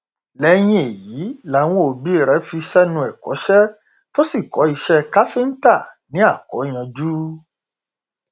lẹyìn èyí làwọn òbí rẹ fi sẹnu ẹkọṣe tó sì kọ iṣẹ káfíńtà ní akóyanjú